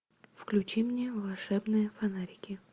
включи мне волшебные фонарики